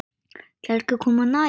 Ætlarðu ekki að koma nær?